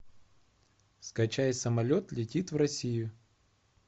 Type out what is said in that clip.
скачай самолет летит в россию